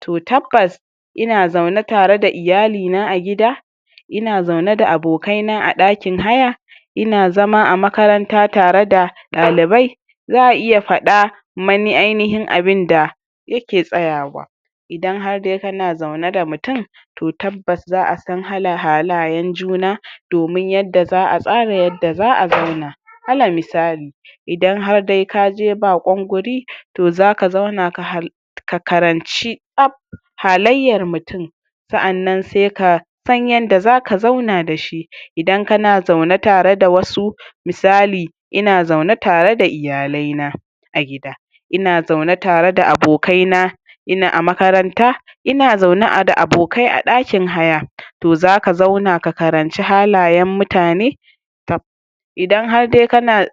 to tabbas, ina zaune tare da iyali na a gida, ina zaune da abokai na a ɗakin haya, ina zaune a makaranta tara da ɗalibai, za a iya faɗa mani ainihin abinda yake tsayawa. Idan har dai kana zaune da mutum, to tabbas za a san halayen juna, domin yadda za a tsara yadda za a zauna. Alal misali, idan har dai kaje baƙon wuri, to zaka zauna ka karanci tsaf halayyar mutum, sa'annan se ka san yanda zaka zauna da shi. Idan kana zaune tare da wasu, misali: ina zaune tare da iyalai na a gida, ina zaune tare da abokai na a makaranta, ina zaune da abokai a ɗakin haya, to zaka zauna ka karanci halayen mutane. Idan har dai